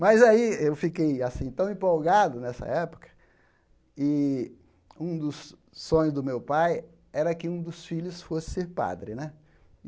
Mas aí eu fiquei assim tão empolgado nessa época, e um dos sonhos do meu pai era que um dos filhos fosse ser padre né.